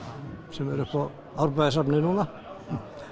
sem er uppi á Árbæjarsafni núna